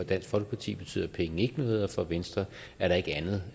dansk folkeparti betyder penge ikke noget og for venstre er der ikke andet